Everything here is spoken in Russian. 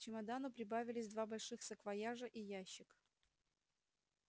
к чемодану прибавились два больших саквояжа и ящик